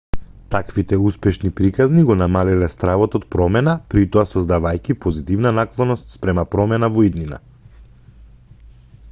таквите успешни приказни го намалиле стравот од промена притоа создавајќи позитивна наклоност спрема промена во иднина